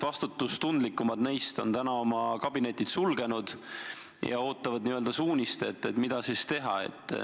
Vastutustundlikumad neist on tänaseks oma kabinetid sulgenud ja ootavad n-ö suunist, mida teha.